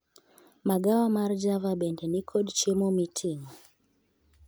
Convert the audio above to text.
Magawa mar java bende nikod chiemo miting'o